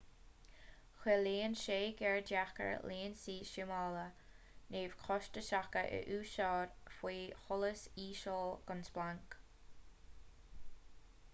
ciallaíonn sé gur deacair lionsaí súmála neamhchostasacha a úsáid faoi sholas íseal gan splanc